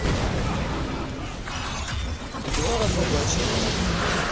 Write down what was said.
идура разоблачение